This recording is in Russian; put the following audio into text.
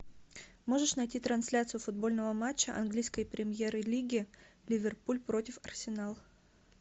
можешь найти трансляцию футбольного матча английской премьер лиги ливерпуль против арсенал